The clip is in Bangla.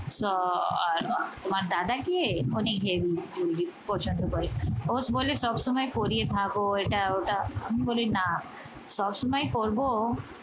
তোমার দাদাকে heavy jewelry পছন্দ করে রোজ বলে সবসময় পড়ে থাকো এটা ওটা আমি বলি না সবসময় পড়বো